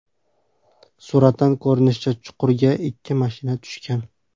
Suratdan ko‘rinishicha, chuqurga ikki mashina tushgan.